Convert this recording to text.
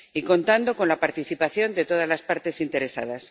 contando con la participación de todas las partes interesadas.